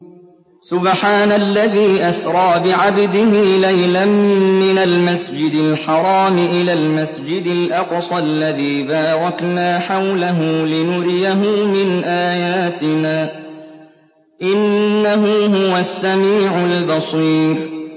سُبْحَانَ الَّذِي أَسْرَىٰ بِعَبْدِهِ لَيْلًا مِّنَ الْمَسْجِدِ الْحَرَامِ إِلَى الْمَسْجِدِ الْأَقْصَى الَّذِي بَارَكْنَا حَوْلَهُ لِنُرِيَهُ مِنْ آيَاتِنَا ۚ إِنَّهُ هُوَ السَّمِيعُ الْبَصِيرُ